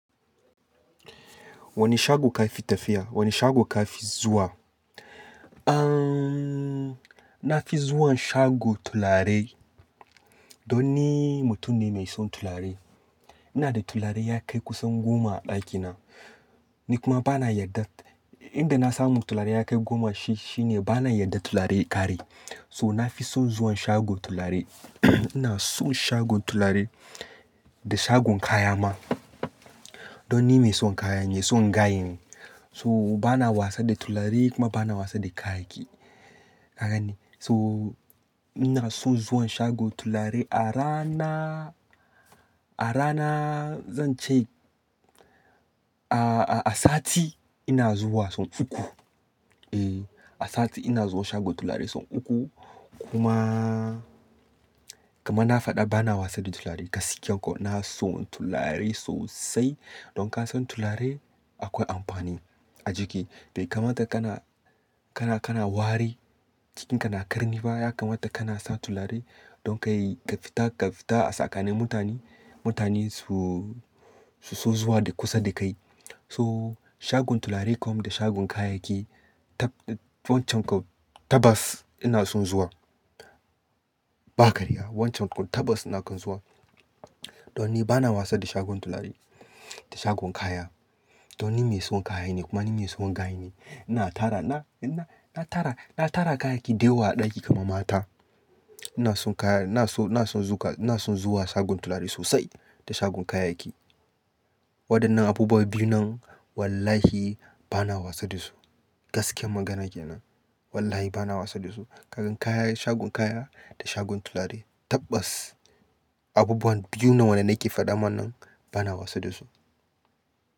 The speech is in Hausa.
Wane shago ka fi tafiya? Wane shago ka fi zuwa? Aaaan. Na fi zuwan shago turare don ni mutum ne mai son tularai. Ina da tularai ya kai kusan goma a ɗakina. Ni kuma bana yarda, inda na samu turare ya kai goma shi, shine bana yarda turare ya ƙare. So na fi son zuwan shagon turare ina son shagon turare da shagon kaya ma. Don ni mai son kaya ne, maibson gaye ne. So bana wasa da tularai kuma bana wasa da kayayyaki. Kaga ne, So ina son zuwan shagon turare a rana, a rana, zan ce a, a, a sati ina zuwa sau uku. E, a sati ina zuwa shagon tulare sau uku. Kuma, kamar na faɗa bana wasa da tularai gaskiya ko. Na son tularai sosai. Don kan son tularai akwai amfani a jiki. Bai kamata kana, kana, kana ware cikinka na ƙarni ba, ya kamata kana sa tulare don ka yi ƙa fita ƙa fita a tsakani mutane, mutane su, su so zuwa da kusa da kai. To shagon tulare kuma da shagon kayayyaki taɓ-- wancan kau tabas ina son zuwa. Ba karya, wancan kau tabas ina kan zuwa. Don ni bana wasa da shagon tularai da shagon kaya. Don ni mai son kaya ne kuma ni mai son gayen ne. Ina tara, na, na, na tara, na tara kayayyaki dayawa a ɗaki kamar mata. Ina son kaya, ina so, ina son zuwa, ina son zuwa shagon tulare sosai da shagon kayayyaki. Waɗannan abubuwa biyun nan wallahi bana wasa da su. Gaskiyar magana kenan. Wallahi bana wasa da su. Ka ga kaya shagon kaya da shagon turare tabbas abubuwa biyun nan da nake faɗa ma bana wasa dasu.